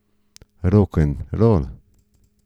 Rokenrol.